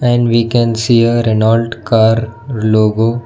And we can see a renolt car logo.